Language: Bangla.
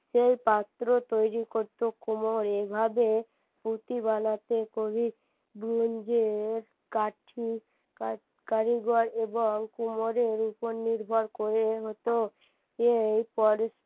সেই পাত্র তৈরী করতো কুমোর এভাবে পুতি বানাতে খুবই কারিগর এবং কুমোরের উপর নির্ভর করে হতো এই